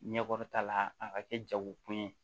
Ɲɛkɔrɔta la a ka kɛ jagokun ye